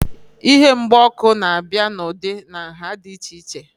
Ihe mgba ọkụ na-abịa n'ụdị na nhá dị iche iche